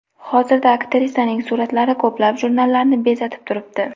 Hozirda aktrisaning suratlari ko‘plab jurnallarni bezatib turibdi.